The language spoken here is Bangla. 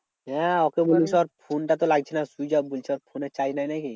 হ্যাঁ ওকে বলবি ধর ফোন টা তো লাগছে না switch off বলছে ওর ফোনে charge নেই নাকি?